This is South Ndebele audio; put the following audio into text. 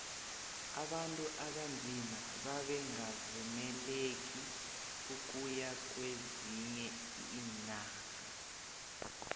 abantu abanzima bebangakavumeleki ukuya kwezinye iinarha